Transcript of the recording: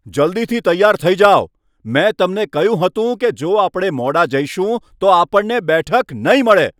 જલ્દીથી તૈયાર થઈ જાઓ! મેં તમને કહ્યું હતું કે જો આપણે મોડા જઈશું તો આપણને બેઠક નહીં મળે.